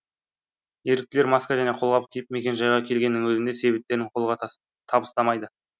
еріктілер маска және қолғап киіп мекенжайға келгеннің өзінде себептерін қолға табыстамайды